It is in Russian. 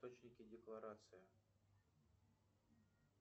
источники декларации